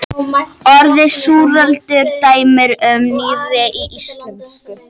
Orðið súraldin er dæmi um nýyrði í íslensku.